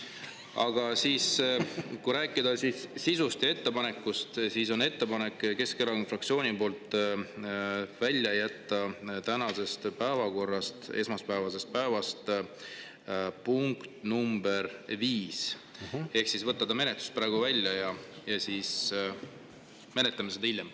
Aga kui rääkida sisust ja ettepanekust, siis Keskerakonna fraktsioonil on ettepanek jätta tänasest, esmaspäevasest päevakorrast välja punkt nr 5, ehk võtta see menetlusest praegu välja ja me siis menetleme seda hiljem.